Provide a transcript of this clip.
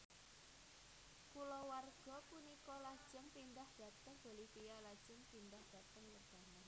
Kulawarga punika lajeng pindhah dhateng Bolivia lajeng pindhah dhateng Lebanon